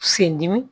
Sen dimi